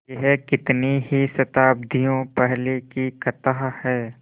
यह कितनी ही शताब्दियों पहले की कथा है